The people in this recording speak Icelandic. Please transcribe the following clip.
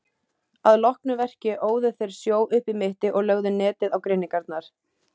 Að loknu verki óðu þeir sjó upp í mitti og lögðu netið á grynningarnar.